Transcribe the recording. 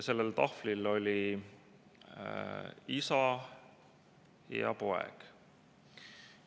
Sellel tahvlil olid isa ja poeg.